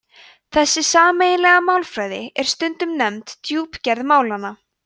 þessi sameiginlega málfræði er stundum nefnd djúpgerð málanna